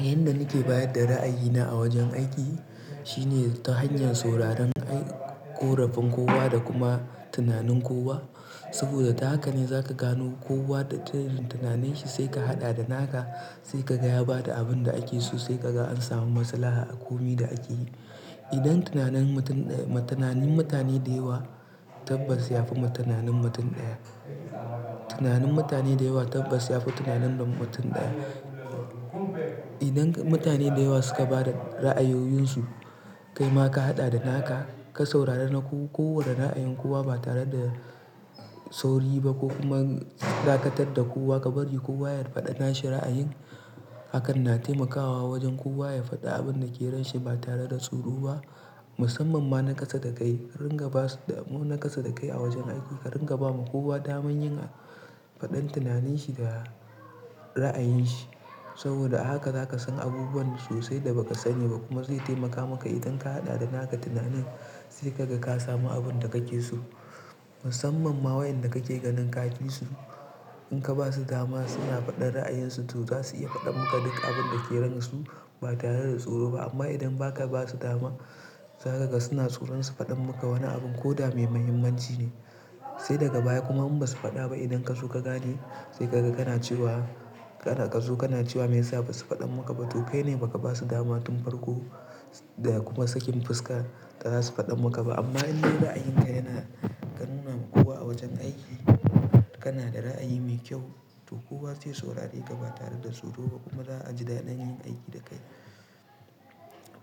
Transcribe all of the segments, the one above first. Yanda nake bayar da ra'ayina a wajen aiki shine ta hanyar sauraren ƙorafin kowa da kuma tunanin kowa. Saboda da haka ne za ka gano kowa da tunanin shi sai ka haɗa da naka sai ka gayaba da abin da ake so sai ka ga an samu maslaha a komin da ake yi. Idan tunanin mutane da yawa tabbas ya fi tunanin mutum ɗaya. Tunanin mutane da yawa tabbas ya fi tunanin mutum ɗaya. Idan mutane da yawa suka ba da ra'ayoyinsu kai ma ka haɗa da naka ka saurara na kowa da ra'ayin kowa ba tare da sauri ba ko kuma zakatar da kowa ka bari kowa ya faɗa nasa ra'ayin. Hakan na taimakawa wajen kowa ya faɗa abin da ke ranshi ba tare da tsoro ba musamman ma na kasa da kai. Ringa ba su dama na kasa da kai a wajen aiki ka ringa ba ma kowa dama yin faɗan tunaninsa da ra'ayinsa. Saboda a haka za ka san abubuwan sosai da ba ka sani ba kuma zai taimaka maka idan ka haɗa da naka tunanin sai ka ga ka samu abin da kake so. Musamman ma wayanda kake ganin kafi su. In ka ba su dama suna faɗan ra'ayinsu to za su iya faɗan maka duk abin da ke ransu ba tare da tsoro ba. Amma idan ba ka ba su dama za ka ga suna tsoron su faɗan maka wani abin ko dama mai muhimmanci ne. Sai daga baya kuma in ba su faɗa ba idan ka so ka gane sai ka ga kana cewa, ka zo kana cewa me yasa ba su faɗan maka ba to kai ne ba ka ba su dama tun farko da kuma sakin fuska ba za su faɗan maka ba. Amma in dai ra'ayinka yana ka nuna ma kowa a wajen aiki kana da ra'ayi mai kyau to kowa zai saurare ka ba tare da tsoro ba kuma za a ji daɗin yin aiki da kai.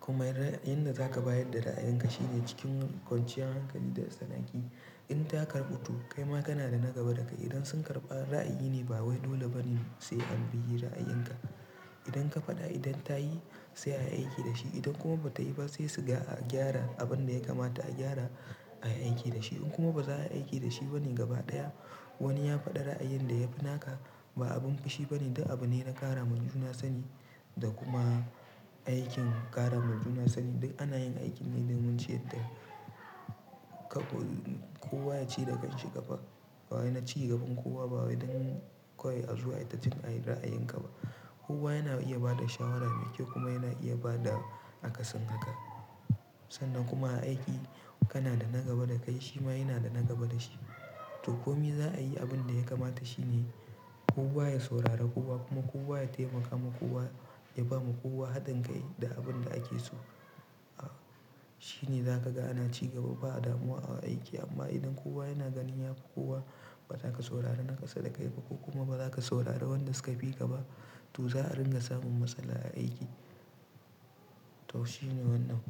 Kuma yanda za ka bayar da ra'ayinka shine kwanciyan hankali da sana'ki. In ta karɓu to kai ma kana da na gaba da kai. Idan sun karɓi ra'ayi ne ba waɗannan bane sai an biya ra'ayinka. Idan ka faɗa idan ta yi sai ayi aiki da shi. Idan kuma ba ta yi ba sai su ga a gyara abin da ya kamata a gyara ayi aiki da shi. In kuma ba za a yi aiki da shi ba ne gaba ɗaya wani ya faɗa ra'ayin da ya fi naka ba abin fushi bane dan abu ne na ƙara manhajuna sani da kuma aikin ƙara ma juna sani. Duk ana yin aikin ne don mu ce yadda kowa ya ci da kanshi ƙafa. Ba wani ya ci gaban kowa ba wai don koyi a zuwa ya tafi yin ra'ayin ka ba. Kowa yana iya bada shawara me kyau kuma yana iya bada akasin haka. Sannan kuma a aiki kana da na gaba da kai shi ma yana da na gaba da shi. To komin za a yi abin da ya kamata shine kowa ya saurara kowa kuma kowa ya taimaka ma kowa ya ba ma kowa haɗin kai da abin da ake so. Shi ne za ka ga ana cigaba ba damuwa a aiki. Amma idan kowa yana ganin ya fi kowa ba za ka saurara na kasa da kai ba ko kuma ba za ka saurara wanda suka fi ka ba to za a ringa samun matsala a aiki. To shi ne wannan.